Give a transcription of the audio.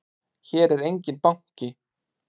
Hér er enginn banki!